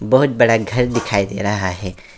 बहुत बड़ा घर दिखाई दे रहा है।